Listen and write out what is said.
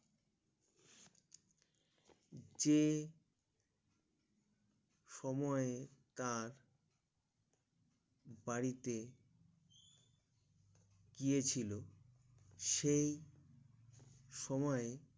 যে সময়ে তার বাড়িতে গিয়ে ছিল সেই সময়ে